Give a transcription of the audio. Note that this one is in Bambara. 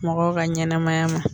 Mɔgɔw ka ɲɛnɛmaya ma